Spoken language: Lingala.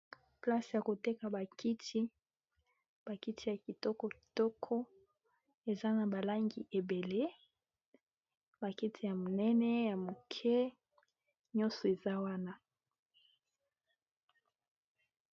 Place ya ko teka ba kiti, ba kiti ya kitoko kitoko, eza na ba langi eblangi ébélé, ba kiti ya minene, ya mike, nyonso eza wana .